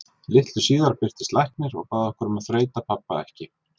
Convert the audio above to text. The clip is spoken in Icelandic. Litlu síðar birtist læknir og bað okkur um að þreyta pabba ekki.